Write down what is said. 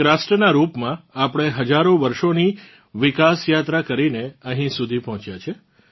એક રાષ્ટ્રનાં રૂપમાં આપણે હજારો વર્ષોની વિકાસયાત્રા કરીને અહીં સુધી પહોંચ્યાં છે